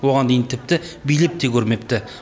оған дейін тіпті билеп те көрмепті